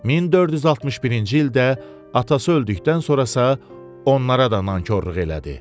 1461-ci ildə atası öldükdən sonra isə onlara da nankorluq elədi.